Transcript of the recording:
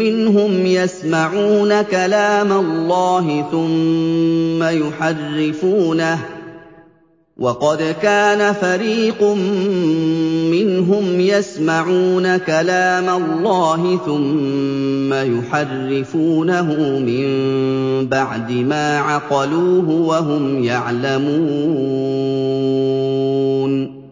مِّنْهُمْ يَسْمَعُونَ كَلَامَ اللَّهِ ثُمَّ يُحَرِّفُونَهُ مِن بَعْدِ مَا عَقَلُوهُ وَهُمْ يَعْلَمُونَ